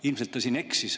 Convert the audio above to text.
Ilmselt ta siin eksis.